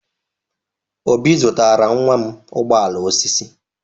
Obi zụtara nwa m ụgbọ ala osisi.